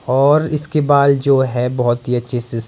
और इसके बाल जो है बहुत ही अच्छे से--